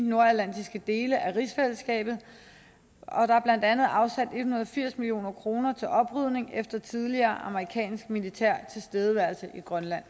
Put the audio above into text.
nordatlantiske dele af rigsfællesskabet og der er blandt andet afsat en hundrede og firs million kroner til oprydning efter tidligere amerikansk militær tilstedeværelse i grønland